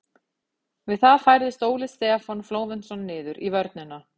Við það færðist Óli Stefán Flóventsson niður í vörnina.